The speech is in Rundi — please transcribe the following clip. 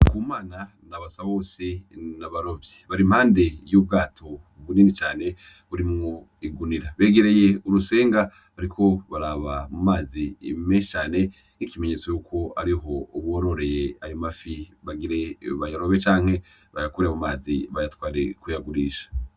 Ndikumana na Basabose n'abarovyi, bari impande y'ubwato bunini cane burimwo igunira, begereye urusenga bariko baraba mu mazi menshi cane nk'ikimenyetso yuko ariho bororereye ayo mafi bagire bayarobe canke bayakure mu mazi bayatware kuyagurisha.